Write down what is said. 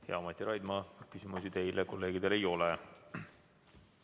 Hea Mati Raidma, küsimusi teile kolleegidel ei ole.